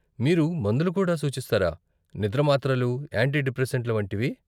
మీరు మందులు కూడా సూచిస్తారా, నిద్ర మాత్రలు, యాంటి డిప్రేసెంట్ల వంటివి?